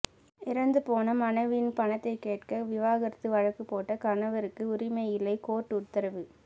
இறந்துபோன மனைவியின் பணத்தை கேட்க விவாகரத்து வழக்கு போட்ட கணவருக்கு உரிமை இல்லை கோர்ட்டு உத்தரவு